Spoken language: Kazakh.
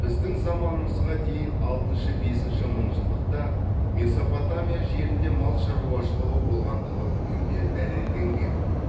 біздің заманымызға дейін алтыншы бесінші мыңжылдықта месопотамия жерінде мал шаруашылығы болғандығы бүгінде дәлелденген